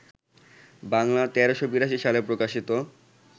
বাংলা ১৩৮২ সালে প্রকাশিত